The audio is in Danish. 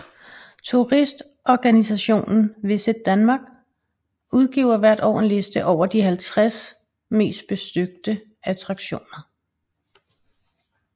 Turistorganisationen VisitDenmark udgiver hvert år en liste over de 50 mest besøgte attraktioner